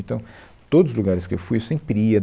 Então, todos os lugares que eu fui, eu sempre ia.